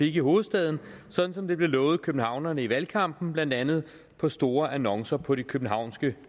i hovedstaden sådan som det blev lovet københavnerne i valgkampen blandt andet på store annoncer på de københavnske